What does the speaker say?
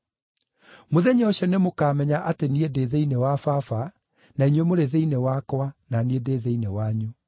Mũthenya ũcio nĩmũkamenya atĩ niĩ ndĩ thĩinĩ wa Baba, na inyuĩ mũrĩ thĩinĩ wakwa, na niĩ ndĩ thĩinĩ wanyu.